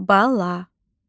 Bala